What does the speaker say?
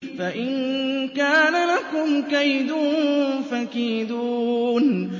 فَإِن كَانَ لَكُمْ كَيْدٌ فَكِيدُونِ